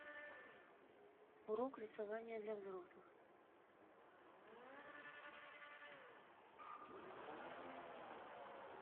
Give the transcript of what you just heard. урок рисования для взрослых